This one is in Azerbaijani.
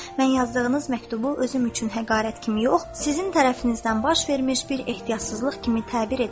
Mən yazdığınız məktubu özüm üçün həqarət kimi yox, sizin tərəfinizdən baş vermiş bir ehtiyatsızlıq kimi təbir edirəm.